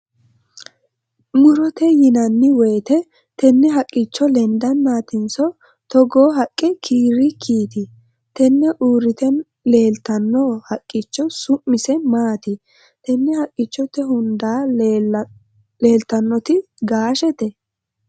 murote yinanni woyiite tenne haqqichono lendannaatinso togoo haqqe kiirrikkiiti? tenne uurrite leeltanno haqqicho su'mise maati? tenne haqqichote hunda leeltannoti gaashete?